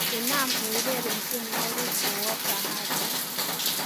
inam eureren tienywogik kouop bahati